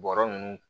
Bɔrɔ ninnu